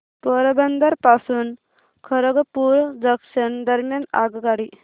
पोरबंदर पासून खरगपूर जंक्शन दरम्यान आगगाडी